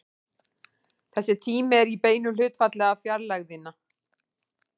Þessi tími er í beinu hlutfalli við fjarlægðina.